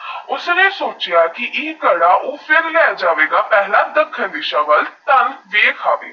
ਉਸਨੇ ਸੋਚਿਆ ਕਿ ਅਹਿ ਗਾਡਾ ਫੇਰ ਲਹਿ ਜਾਵੇ ਗਾ ਪਹਿਲਾ ਦਾਖਮ ਦੀਸਾ ਵਾਲ ਤਾਂ ਫੇਰ ਖਾਵੇ